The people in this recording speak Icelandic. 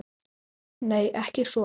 Nei, ekki svona.